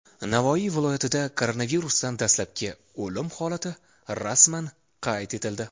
Navoiy viloyatida koronavirusdan dastlabki o‘lim holati rasman qayd etildi.